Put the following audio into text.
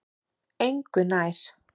Engu nær